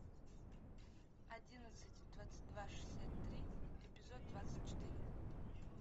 одиннадцать двадцать два шестьдесят три эпизод двадцать четыре